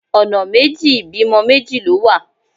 Ọ̀nà méjì ìbímọ méjì ló wà.